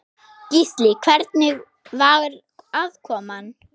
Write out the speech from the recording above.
Gísli: Hvernig var aðkoman?